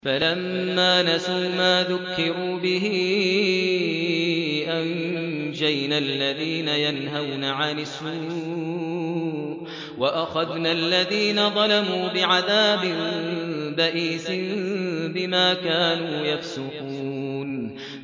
فَلَمَّا نَسُوا مَا ذُكِّرُوا بِهِ أَنجَيْنَا الَّذِينَ يَنْهَوْنَ عَنِ السُّوءِ وَأَخَذْنَا الَّذِينَ ظَلَمُوا بِعَذَابٍ بَئِيسٍ بِمَا كَانُوا يَفْسُقُونَ